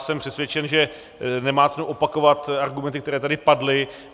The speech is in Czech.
Jsem přesvědčen, že nemá cenu opakovat argumenty, které tady padly.